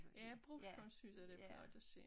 Ja brugskunst synes jeg det flot at se